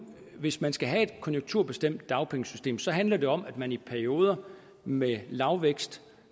hvis man skal have et konjunkturbestemt dagpengesystem så handler det om at man i perioder med lavvækst